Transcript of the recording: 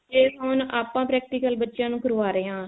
ਤੇ ਹੁਣ ਆਪਾਂ practical ਬੱਚਿਆਂ ਨੂੰ ਕਰਵਾ ਰਹੇ ਹਾਂ